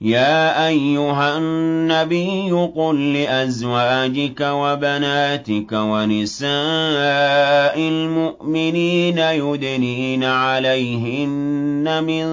يَا أَيُّهَا النَّبِيُّ قُل لِّأَزْوَاجِكَ وَبَنَاتِكَ وَنِسَاءِ الْمُؤْمِنِينَ يُدْنِينَ عَلَيْهِنَّ مِن